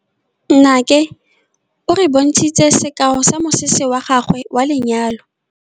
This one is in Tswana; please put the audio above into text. Nnake o re bontshitse sekaô sa mosese wa gagwe wa lenyalo.